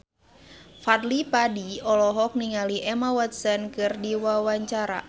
Fadly Padi olohok ningali Emma Watson keur diwawancara